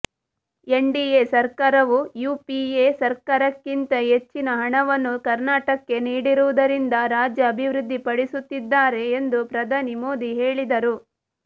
NDA ಸರ್ಕಾರವು UPA ಸರ್ಕಾರಕ್ಕಿಂತ ಹೆಚ್ಚಿನ ಹಣವನ್ನು ಕರ್ನಾಟಕಕ್ಕೆ ನೀಡಿರುವುದರಿಂದ ರಾಜ್ಯ ಅಭಿವೃದ್ಧಿಪಡಿಸುತ್ತಿದ್ದಾರೆ ಎಂದು ಪ್ರಧಾನಿ ಮೋದಿ ಹೇಳಿದರು